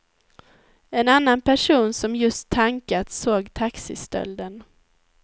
En annan person som just tankat såg taxistölden.